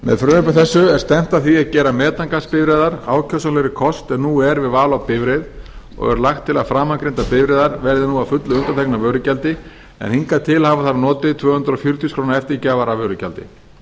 með frumvarpi þessu er stefnt að því að geta metangasbifreiðar ákjósanlegri kost er en nú er við val á bifreið og er lagt til að framangreindar bifreiðar verði nú að fullu undanþegnar vörugjaldi en hingað til hafa þær notið tvö hundruð fjörutíu þúsund krónur eftirgjafar af vörugjaldi